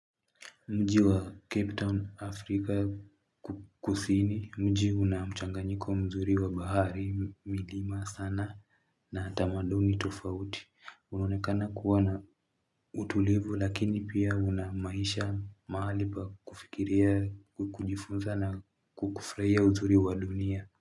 Mji wa Capetown Afrika kukusini mji unamchanganyiko mzuri wa bahari milima sana na tamaduni tufauti unonekana kuwa na utulivu lakini pia unamaisha mahali pa kufikiria kujifunza na kufurahia uzuri wa dunia.